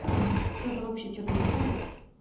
кто-то вообще что-то сделал